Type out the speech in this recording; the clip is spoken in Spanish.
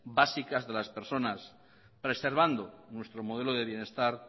básicas de las personas preservando nuestro modelo de bienestar